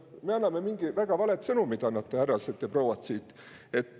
Me anname siit väga valet sõnumit, härrased ja prouad.